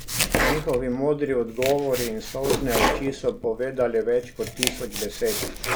Njihovi modri odgovori in solzne oči so povedali več kot tisoč besed.